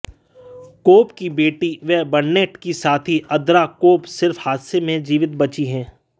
कोब की बेटी व बर्नेट की साथी अंद्रा कोब सिर्फ हादसे में जीवित बची हैं